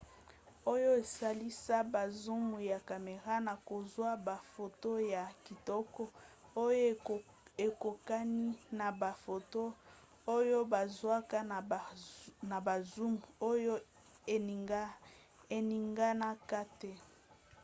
oyo esalisa ba zoom ya camera na kozwa bafoto ya kitoko oyo ekokani na bafoto oyo bazwaka na ba zoom oyo eninganaka te